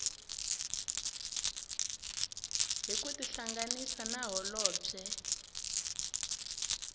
hi ku tihlanganisa na holobye